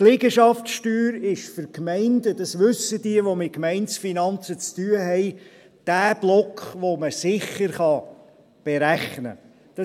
Die Liegenschaftssteuer ist für die Gemeinden – dies wissen diejenigen, die mit Gemeindefinanzen zu tun haben – der Block, den man sicher berechnen kann.